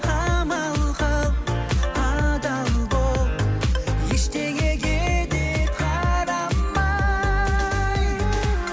амал қыл адал бол ештеңеге де қарамай